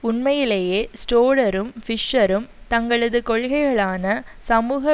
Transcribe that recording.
உண்மையிலேயே ஷ்ரோடரும் பிஷ்சரும் தங்களது கொள்கைகளான சமூக